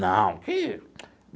Não que.